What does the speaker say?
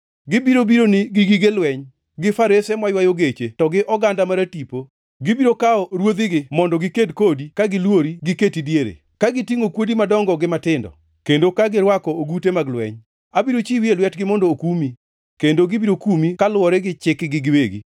Gibiro bironi gi gig lweny, gi farese maywayo geche to gi oganda maratipo; gibiro kawo ruothegi mondo giked kodi ka gilwori giketi diere, ka gitingʼo kuodi madongo gi matindo, kendo ka girwako ogute mag lweny. Abiro chiwi e lwetgi mondo okumi, kendo gibiro kumi kaluwore gi chikgi giwegi.